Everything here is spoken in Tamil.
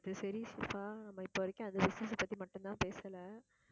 அது சரி ஷிபா நம்ம இப்ப வரைக்கும் அந்த business ஆ அது பத்தி மட்டும் தான் பேசல